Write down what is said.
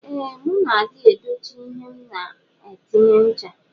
Ee mu na adi edochi ihe m na atinye ncha.